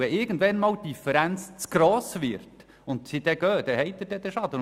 Wenn die Differenz irgendwann zu gross wird und sie geht, dann haben Sie den Schaden.